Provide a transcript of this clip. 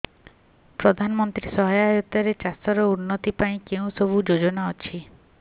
ପ୍ରଧାନମନ୍ତ୍ରୀ ସହାୟତା ରେ ଚାଷ ର ଉନ୍ନତି ପାଇଁ କେଉଁ ସବୁ ଯୋଜନା ଅଛି